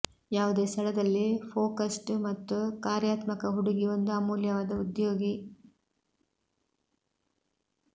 ಯಾವುದೇ ಸ್ಥಳದಲ್ಲಿ ಫೋಕಸ್ಡ್ ಮತ್ತು ಕಾರ್ಯಾತ್ಮಕ ಹುಡುಗಿ ಒಂದು ಅಮೂಲ್ಯವಾದ ಉದ್ಯೋಗಿ